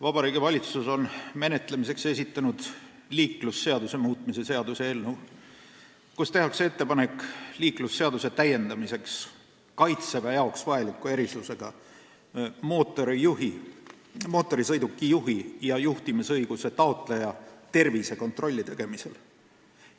Vabariigi Valitsus on menetlemiseks esitanud liiklusseaduse muutmise seaduse eelnõu, kus tehakse ettepanek täiendada liiklusseadust Kaitseväe jaoks vajaliku erisusega mootorsõidukijuhi ja juhtimisõiguse taotleja tervisekontrolli tegemisel.